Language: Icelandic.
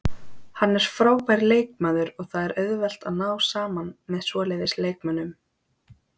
Hann er frábær leikmaður og það er auðvelt að ná saman með svoleiðis leikmönnum.